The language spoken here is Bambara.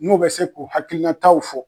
N'u bɛ se k'u hakilinataw fɔ.